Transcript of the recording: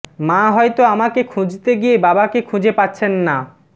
মা হয়তো আমাকে খুঁজতে গিয়ে বাবাকে খুঁজে পাচ্ছেন না